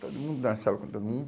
Todo mundo dançava com todo mundo.